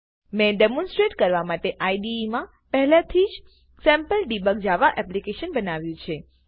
મેં ડેમોનસ્ટરેશન કરવા માટે આઇડીઇ માં પહેલેથી જ સેમ્પલડેબગ જાવા એપ્લીકેશન બનાવ્યું છે